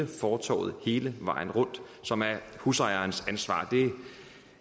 fortovet hele vejen rundt som er husejerens ansvar